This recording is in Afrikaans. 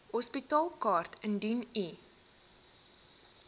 hospitaalkaart indien u